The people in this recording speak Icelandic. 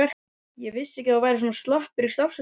Ég vissi ekki að þú værir svona slappur í stafsetningu!